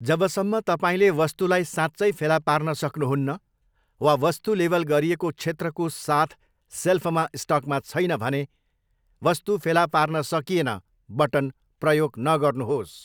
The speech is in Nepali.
जबसम्म तपाईँले वस्तुलाई साँच्चै फेला पार्न सक्नुहुन्न वा वस्तु लेबल गरिएको क्षेत्रको साथ सेल्फमा स्टकमा छैन भने 'वस्तु फेला पार्न सकिएन' बटन प्रयोग नगर्नुहोस्।